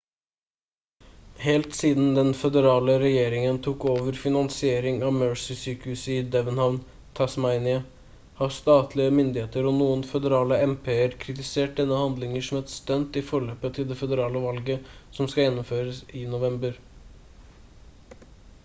helt siden den føderale regjeringen tok over finansiering av mersey-sykehuset i devonhavn tasmania har statlige myndigheter og noen føderale mp-er kritisert denne handlingen som et stunt i forløpet til det føderale valget som skal gjennomføres i november